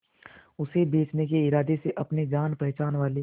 उसे बचने के इरादे से अपने जान पहचान वाले